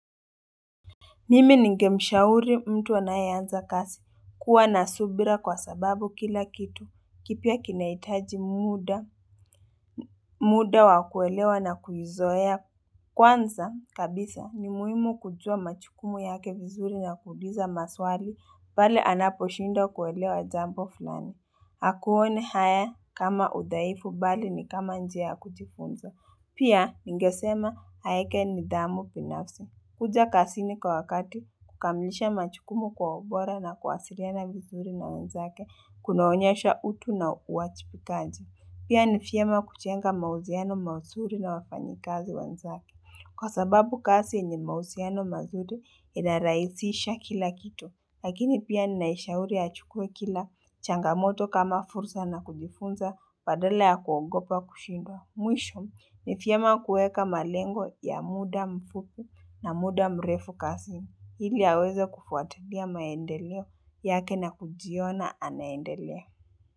Mimi ningemushauri mtu anayeanza kasi kuwa nasubira kwa sababu kila kitu, kipya kinahitaji muda, muda wakuelewa na kuizoea kwanza kabisa ni muhimu kujua majukumu yake vizuri na kuliza maswali, pale anaposhinda kuelewa jambo fulani. Akuone haya kama uthaifu bali ni kama njia kujifunza. Pia ningesema haeke nithamu binafsi. Kuja kazini kwa wakati kukamlisha majukumu kwa ubora na kwasiriana vizuri na wanzake kunaonyasha utu na uajibikaji. Pia nivyiema kujenga mahusiano mazuri na wafanyikazi wanzake. Kwa sababu kazi enye mahusiano mazuri inarahisisha kila kitu lakini pia ninaishauri achukue kila changamoto kama fursa na kujifunza badala ya kuogopa kushindwa mwisho Nivyema kuweka malengo ya muda mfupi na muda mrefu kazini hili aweza kufuatalia maendeleo yake na kujiona anaendelea.